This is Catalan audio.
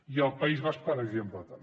i al país basc per exemple també